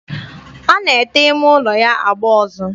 Ọ na-ete ime ụlọ ya agba ọzọ?